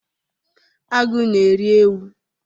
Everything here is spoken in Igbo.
Agụ na-eri ewu